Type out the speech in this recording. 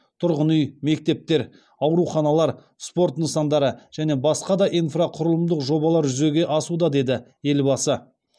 тұрғын үй мектептер ауруханалар спорт нысандары және басқа да инфрақұрылымдық жобалар жүзеге асуда деді елбасы